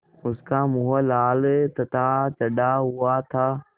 उसका मुँह लाल तथा चढ़ा हुआ था